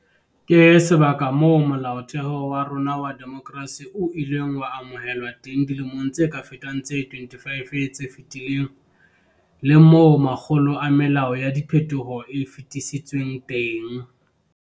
Ke sebaka moo Molaotheo wa rona wa demokerasi o ileng wa amohelwa teng dilemong tse ka fetang tse 25 tse fetileng, le moo makgolo a melao ya diphethoho e fetisitsweng teng.